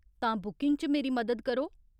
तां बुकिंग च मेरी मदद करो।